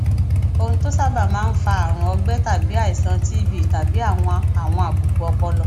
ohun tó sábà máa ń fa àrùn ọgbẹ tàbí àìsàn tbtàbí àwọn àwọn àbùkù ọpọlọ